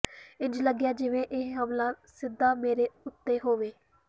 ਇੰਜ ਲੱਗਿਆ ਜਿਵੇਂ ਇਹ ਹਮਲਾ ਸਿੱਧਾ ਮੇਰੇ ਉੱਤੇ ਹੋਵੇ